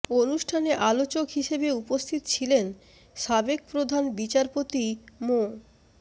অনুষ্ঠানে আলোচক হিসেবে উপস্থিত ছিলেন সাবেক প্রধান বিচারপতি মো